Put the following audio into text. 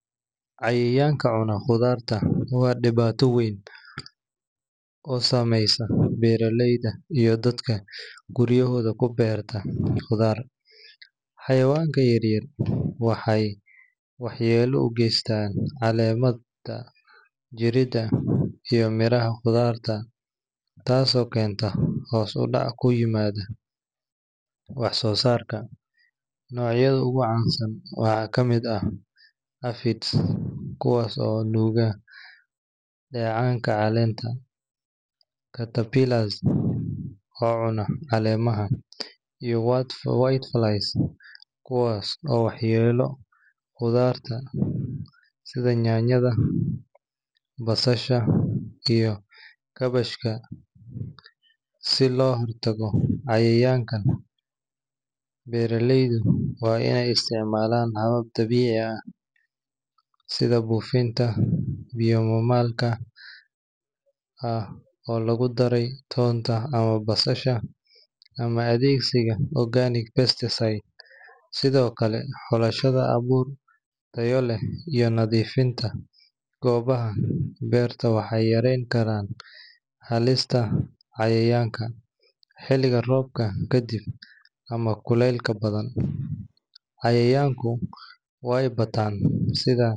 Cayayanga cunog qotharta wa debato weyn, oo sameeystoh beraleyda iyo dadka guriyahoda kubeertah qotharta , cayawanka yaryar waxay waxyelo u geeystan calemaha iyo meeraha quthartaa taaso oo keentoh hoos u dac kuyimadoh wax sosarka nocyada ugu cansan waxa kamer aah hafit kuwaso bogah cayayanga caleenta caterpillars oo cuunoh caleemaha iyo whiteflies kuwas oo waxyela qotharta setha nyanyatha, basasha iyo kabashka si lohirtagoh cayayanga beeraleyda wa in isticmalan suun dabecika aah setha bofeenta oo mamalka amah lagubdaray tonta, amah basasha wa athegsika organic best sethokali xolashada katolet iyo nathifinta koobaha beerta waxyalinkarah halista cayayanga setha roobka kadib amah kulele bathan cayayanga waybatan sitha .